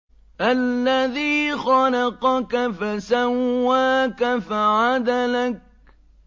الَّذِي خَلَقَكَ فَسَوَّاكَ فَعَدَلَكَ